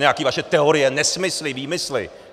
Nějaké vaše teorie, nesmysly, výmysly.